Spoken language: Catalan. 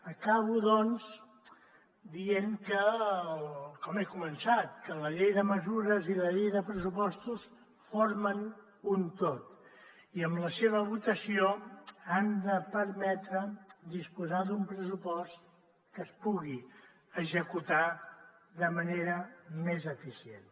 acabo doncs dient com he començat que la llei de mesures i la llei de pressupostos formen un tot i amb la seva votació han de permetre disposar d’un pressupost que es pugui executar de manera més eficient